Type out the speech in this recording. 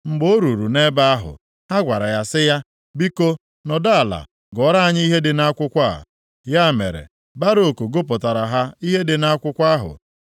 Mgbe o ruru nʼebe ahụ, ha gwara ya sị ya, “Biko, nọdụ ala gụọra anyị ihe dị nʼakwụkwọ a.” Ya mere, Baruk gụpụtara ha ihe dị nʼakwụkwọ ahụ.